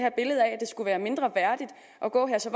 skulle være mindreværdigt at gå her så